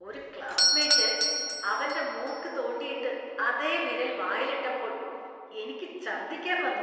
ഒരു ക്ലാസ്മേറ്റ്‌ അവന്റെ മൂക്ക് തോണ്ടിയിട്ട് അതേ വിരൽ വായിൽ ഇട്ടപ്പോൾ എനിക്ക് ഛര്‍ദിക്കാന്‍ വന്നു.